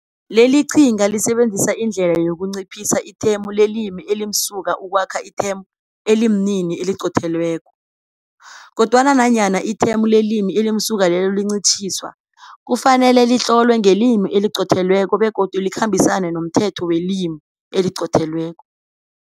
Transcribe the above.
Leli qhinga lisebenzisa indlela yokunciphisa ithemu lelimi elimsuka ukwakha ithemu elimini eliqothelweko. Kodwana, nanyana ithemu lelimi elimsuka lelo lincitjhiswa, kufanele litlolwe ngelimi eliqothelweko begodu likhambisane nomthetho welimi eliqothelweko.